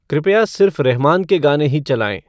कृपया सिर्फ़ रहमान के गाने ही चलाएँ